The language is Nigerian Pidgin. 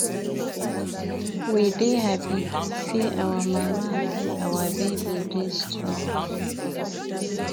We dey happy sey our mama and our baby dey strong.